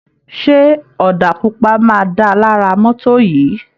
Ṣé ọ̀dà pupa máa dáa lára mọ́tò yìí.?